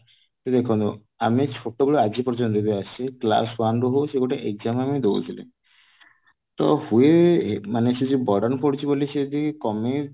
ତ ଦେଖନ୍ତୁ ଆମେ ଛୋଟବେଳୁ ଆଜି ପର୍ଯ୍ୟନ୍ତ ବି ଆସିଛେ class one ରୁ ହଉ ଗୋଟେ exam ଆମେ ଦଉଥିଲେ ତ ହୁଏ ମାନେ ସେ ଯୋଉ burden ପଡୁଛି ବୋଲି ସେ ଯଦି କମେଇ